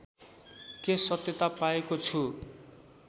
के सत्यता पाएको छु